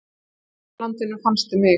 Í vorlandi fannstu mig.